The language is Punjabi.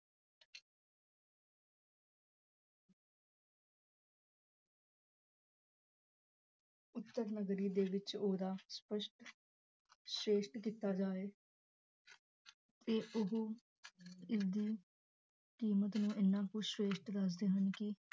ਉਤਰ ਨਗਰੀ ਦੇ ਵਿਚ ਓਦਾ ਸਪਸ਼ਟ ਸਰੇਸਟ ਕੀਤਾ ਜਾਇ ਤੇ ਓਹੋ ਇਸਦੀ ਕੀਮਤ ਨੂੰ ਇਨਾ ਕੁਛ ਵੇਖ ਕੇ ਦੱਸਦੇ ਹਨ ਕੀ